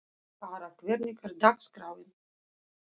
Kara, hvernig er dagskráin?